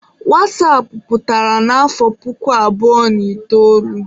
wasapụ pụtara n'afọ puku abụọ na itoolu.